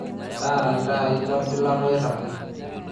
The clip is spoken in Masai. taara iltaai lolgilata oirragi